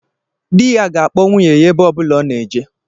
Dị ya ga-akpọ nwunye ya ebe ọbụla ọ na-eje